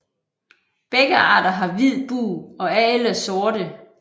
Begge arter har hvid bug og er ellers sorte